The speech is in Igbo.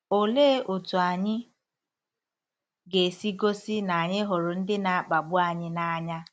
Olee otú anyị ga-esi gosi na anyị hụrụ ndị na-akpagbu anyị n’anya?